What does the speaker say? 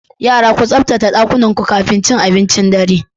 Yara, ku tsaftace ɗakunanku kafin cin abincin dare.